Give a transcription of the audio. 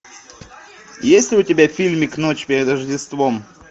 есть ли у тебя фильмик ночь перед рождеством